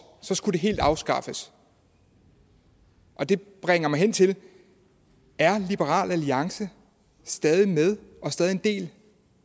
så skulle det helt afskaffes det bringer mig hen til er liberal alliance stadig med og stadig en del